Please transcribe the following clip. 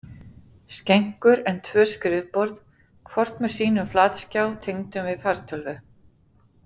skenkur en tvö skrifborð, hvort með sínum flatskjá tengdum við fartölvu.